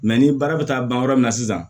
ni baara bɛ taa ban yɔrɔ min na sisan